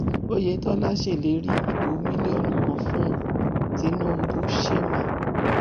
oyetola ṣèlérí ìbò mílíọnù kan fún tinubushemma